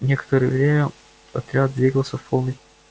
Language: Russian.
некоторое время отряд двигался в полной